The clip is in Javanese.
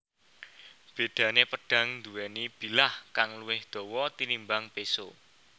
Bédané pedhang nduwèni bilah kang luwih dawa tinimbang péso